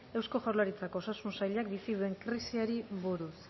eusko jaurlaritzako osasun sailak bizi duen krisiari buruz